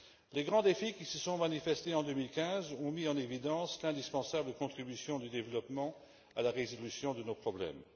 Les grands défis qui se sont manifestés en 2015 ont mis en évidence l'indispensable contribution du développement à la résolution de nos problèmes.